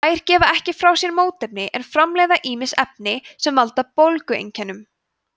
þær gefa ekki frá sér mótefni en framleiða ýmis efni sem valda bólgueinkennum